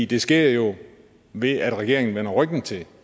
det sker jo ved at regeringen vender ryggen til